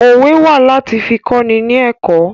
Òwe wà láti fi kọ́ni ni ẹ̀kọ́